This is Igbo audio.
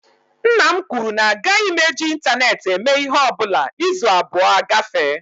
Nna m kwuru na agaghị m eji ịntaneetị eme ịhe ọbụla izu abụọ agafee